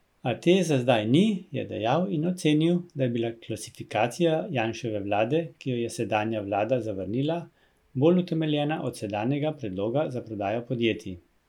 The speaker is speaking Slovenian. A te za zdaj ni, je dejal in ocenil, da je bila klasifikacija Janševe vlade, ki jo je sedanja vlada zavrnila, bolj utemeljena od sedanjega predloga za prodajo podjetij.